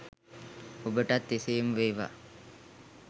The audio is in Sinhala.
ඔබටත් එසේම වේවා